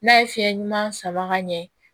N'a ye fiɲɛ ɲuman sama ka ɲɛ